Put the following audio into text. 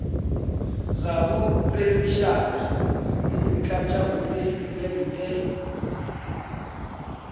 ga go rerišana le motlatšamopresidente